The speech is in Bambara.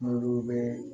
N'olu bɛɛ